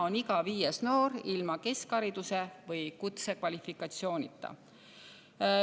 Iga viies noor on ilma keskhariduse või kutsekvalifikatsioonita.